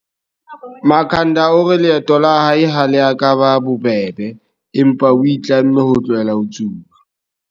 Makhanda o re leeto la hae ha le ka la eba bobebe, empa o itlamme ho tlohela ho tsuba.